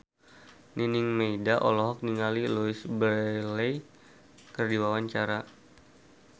Nining Meida olohok ningali Louise Brealey keur diwawancara